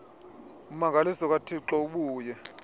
ummangaliso kathixo ubuye